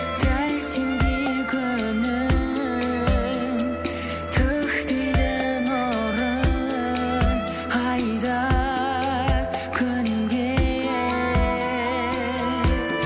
дәл сендей күнім төкпейді нұрын ай да күн де